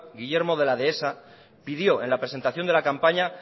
guillermo de la dehesa pidió en la presentación de la campaña